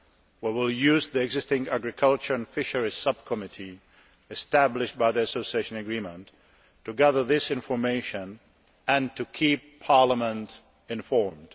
We will use the existing agriculture and fisheries subcommittee established by the Association Agreement to gather this information and to keep Parliament informed.